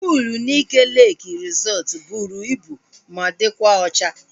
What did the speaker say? Puul Nike Leeki resọtu bụrụ ibu ma dịkwa ocha